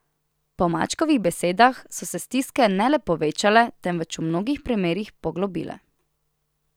Po Mačkovih besedah so se stiske ne le povečale, temveč v mnogih primerih poglobile.